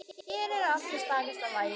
Hér er allt í stakasta lagi.